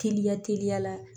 Teliya teliya la